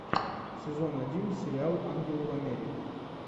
сезон один сериал ангелы в америке